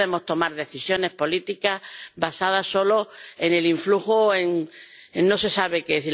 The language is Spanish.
No podemos tomar decisiones políticas basadas solo en el influjo, en no se sabe qué.